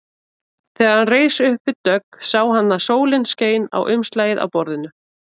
Þegar hann reis upp við dogg sá hann að sólin skein á umslagið á borðinu.